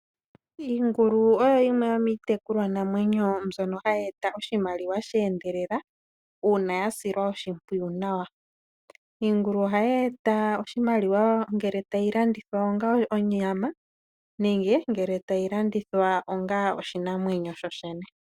Iingulu oyo yimwe yomiitekulwa namwenyo mbyono hayi eta oshimaliwa sha endelela uuna ya silwa oshimpwiyu nawa. Iingulu ohayi e ta oshimaliwa ngele tayi landithwa onga onyama nenge tayi landithwa onga oshinamwemyo shi na omwenyo.